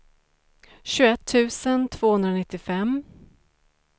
tjugoett tusen tvåhundranittiofem